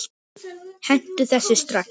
Hentu þessu strax!